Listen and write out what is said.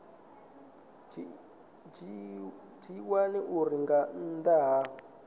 dzhiiwa uri nga nnḓa ha